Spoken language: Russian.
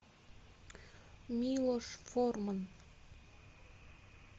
милош форман